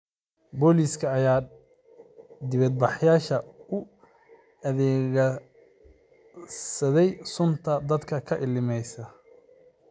Booliiska ayaa dibadbaxayaasha u adeegsaday sunta dadka ka ilmeysiisa.